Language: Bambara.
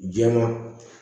Jɛman